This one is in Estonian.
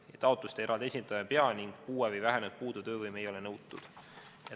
Neid taotlusi eraldi esitama ei pea ning puue või vähenenud töövõime ei ole nõutud.